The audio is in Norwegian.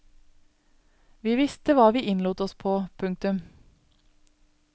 Vi visste hva vi innlot oss på. punktum